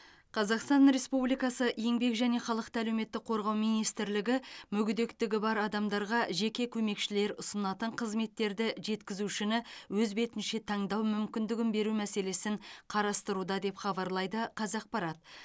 қазақстан республикасы еңбек және халықты әлеуметтік қорғау министрлігі мүгедектігі бар адамдарға жеке көмекшілер ұсынатын қызметтерді жеткізушіні өз бетінше таңдау мүмкіндігін беру мәселесін қарастыруда деп хабарлайды қазақпарат